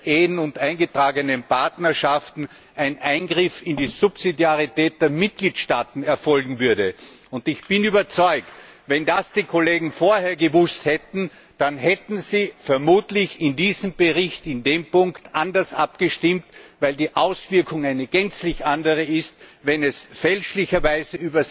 bei Ehen und eingetragenen Partnerschaften ein Eingriff in die Subsidiarität der Mitgliedstaaten erfolgen würde. Ich bin überzeugt, wenn die Kollegen das vorher gewusst hätten, dann hätten sie vermutlich bei diesem Bericht in dem Punkt anders abgestimmt, weil die Auswirkung eine gänzlich andere ist, wenn es fälschlicherweise